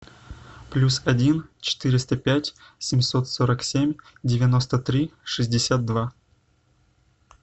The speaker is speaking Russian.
плюс один четыреста пять семьсот сорок семь девяносто три шестьдесят два